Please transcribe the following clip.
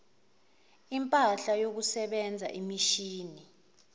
impahla yokusebenza imishini